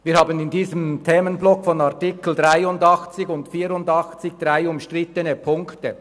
der SiK. Wir haben in diesem Themenblock der Artikel 83 und 84 drei umstrittene Punkte.